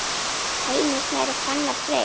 Heimir Snær og Fannar Freyr.